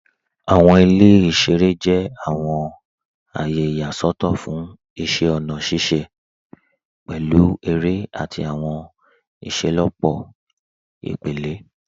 Awọn ilẹ̀ iṣẹ̀rẹ̀ jẹ̀ awọn ayé iyaṣọtọ̀ fún iṣẹ̀ ọ̀na ṣiṣẹ̀, pẹ̀lú èrẹ̀ ati awọn iṣẹlọpọ̀ ipẹ̀lẹ.